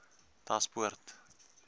daspoort